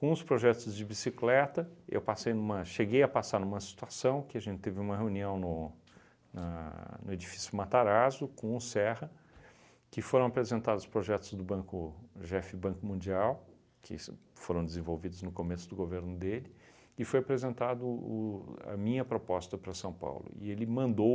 Com os projetos de bicicleta, eu passei numa, cheguei a passar numa situação que a gente teve uma reunião no na no edifício Matarazzo com o Serra, que foram apresentados projetos do Banco jefe Banco Mundial, que se foram desenvolvidos no começo do governo dele e foi apresentado o a minha proposta para São Paulo e ele mandou